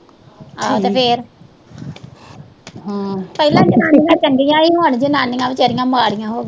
ਪਹਿਲੀਆਂ ਜਨਾਨੀਆਂ ਚੰਗੀਆਂ ਸੀ, ਹੁਣ ਜਨਾਨੀਆਂ ਬੇਚਾਰੀਆਂ ਮਾੜੀਆਂ ਹੋਗੀਆਂ।